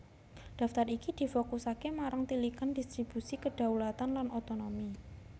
Daftar iki difokusaké marang tilikan dhistribusi kedhaulatan lan otonomi